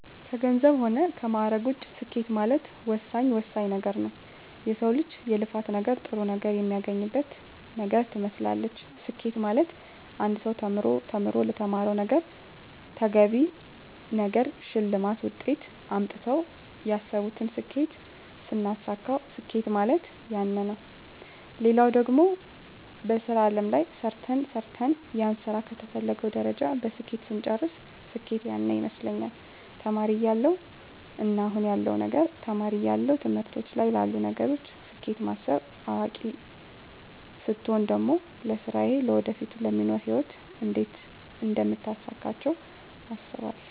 ከገንዘብ ሆነ ከማእረግ ውጭ ስኬት ማለት ወሳኝ ወሳኝ ነገረ ነዉ የሰው ልጅ የልፋት ነገር ጥሩ ነገር የሚያገኝበት ነገር ትመስላለች ስኬት ማለት አንድ ሰው ተምሮ ተምሮ ለተማረዉ ነገረ ተገቢውን ነገር ሸልማት ውጤት አምጥተው ያሰብቱን ስኬት ስናሳካዉ ስኬት ማለት ያነ ነዉ ሌላው ደግሞ በሥራ አለም ላይ ሰርተ ሰርተን ያንን ስራ ከተፈለገዉ ደረጃ በስኬት ስንጨርስ ስኬት ያነ ይመስለኛል ተማሪ እያለው እና አሁን ያለዉ ነገር ተማሪ እያለው ትምህርቶች ላይ ላሉ ነገሮች ስኬት ማስብ አዋቂ ስቾን ደግሞ ለስራየ ለወደፊቱ ለሚኖሩ ህይወት እንዴት አደምታሳካቸው አስባለሁ